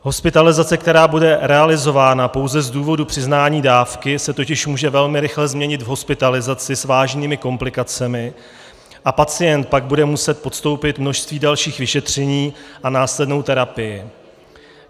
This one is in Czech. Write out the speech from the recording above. Hospitalizace, která bude realizována pouze z důvodu přiznání dávky, se totiž může velmi rychle změnit v hospitalizaci s vážnými komplikacemi a pacient pak bude muset podstoupit množství dalších vyšetření a následnou terapii.